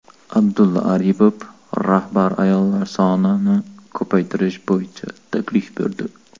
Abdulla Aripov rahbar ayollar sonini ko‘paytirish bo‘yicha taklif berdi.